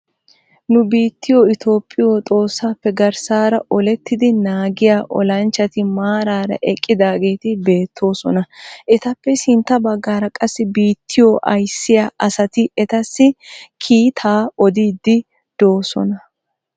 Nu biittiyoo itoophphiyoo xoossaappe garssaara olettiidi naagiyaa olanchchati maarara eqqidaageti beettoosona. etappe sintta baggaara qassi bittiyoo ayssiyaa asati etasi kiitaa odiidi doosona.